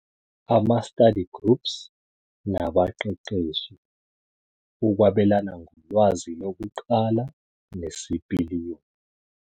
Ama-Study groups nabaqeqeshi- Ukwabelana ngolwazi lokuqala nesipiliyoni.